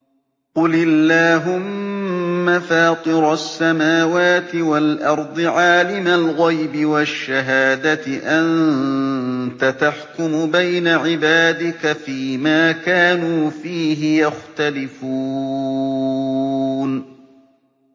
قُلِ اللَّهُمَّ فَاطِرَ السَّمَاوَاتِ وَالْأَرْضِ عَالِمَ الْغَيْبِ وَالشَّهَادَةِ أَنتَ تَحْكُمُ بَيْنَ عِبَادِكَ فِي مَا كَانُوا فِيهِ يَخْتَلِفُونَ